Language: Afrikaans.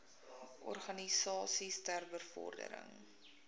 organisasies ter bevordering